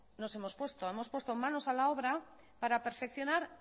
nos hemos puesto hemos puesto manos a la obra para perfeccionar